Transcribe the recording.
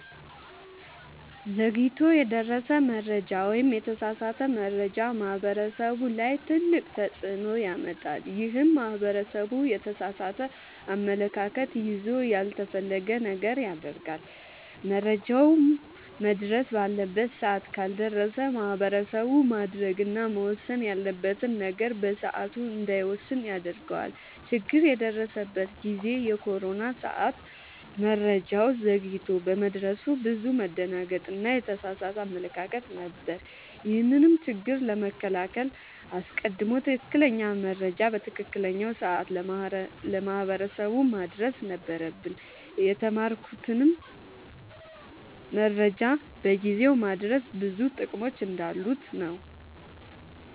ዘግይቶ የደረሰ መረጃ ወይም የተሳሳተ መረጃ ማህበረሰቡ ላይ ትልቅ ተፅዕኖ ያመጣል። ይህም ማህበረሰቡ የተሳሳተ አመለካከት ይዞ ያልተፈለገ ነገር ያደርጋል። መረጃውም መድረስ ባለበት ሰዓት ካልደረሰ ማህበረሰቡ ማድረግ እና መወሰን ያለበትን ነገር በሰዓቱ እንዳይወስን ያደርገዋል። ችግር የደረሰበት ጊዜ የኮሮና ሰዓት መረጃው ዘግይቶ በመድረሱ ብዙ መደናገጥ እና የተሳሳተ አመለካከት ነበር። ይህንንም ችግር ለመከላከል አስቀድሞ ትክክለኛ መረጃ በትክክለኛው ሰዓት ለማህበረሰቡ ማድረስ ነበረብን። የተማርኩትም መረጃን በጊዜው ማድረስ ብዙ ጥቅሞች እንዳሉት ነወ።